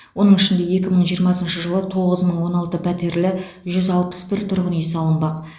оның ішінде екі мың жиырмасыншы жылы тоғыз мың он алты пәтерлі жүз алпыс бір тұрғын үй салынбақ